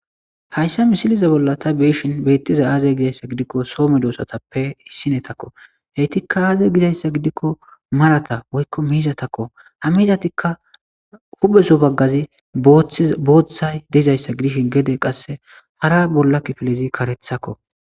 hayssa misiliza bolla ta beeshin beettiza aazey gizayssa gidikko soo dmedoosatappe hissinetakko heytikka aaze gizayssa gidikko marata woykko miiza takko hamizatikka hubeso baggazi booththay deizayssa gidishin gede qasse hara bolla kifilezi karethakko